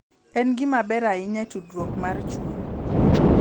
En gima ber ahinya e tudruok mar chuny.